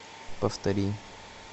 повтори